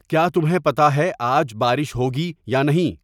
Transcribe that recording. کیا تمہیں پتہ ہے آج بارش ہوگی یا نہیں